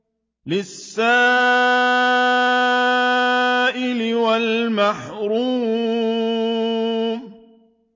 لِّلسَّائِلِ وَالْمَحْرُومِ